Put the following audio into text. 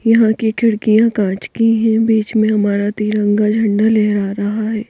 यहाँ की खिड़कियाँ काँच की हैं बीच में हमारा तिरंगा झंडा लहरा रहा है ।